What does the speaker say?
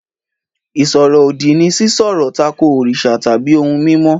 Ìṣòro-òdì ni sì sọ̀rọ̀ takò òrìṣà tàbí ohun mímọ́.